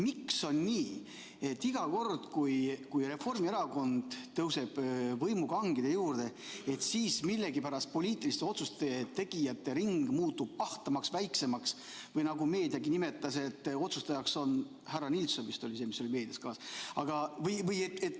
Miks on nii, et iga kord, kui Reformierakond tõuseb võimukangide juurde, muutub poliitiliste otsuste tegijate ring millegipärast ahtamaks või, nagu meedia on selle kohta öelnud, otsustajaks saab härra Nilsson – vist oli selline see nimi, mis meedias kõlas?